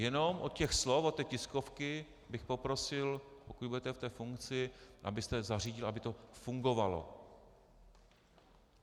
Jenom od těch slov, od té tiskovky bych poprosil, pokud budete v té funkci, abyste zařídil, aby to fungovalo.